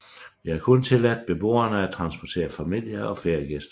Det er kun tilladt beboerne at transportere familie og feriegæster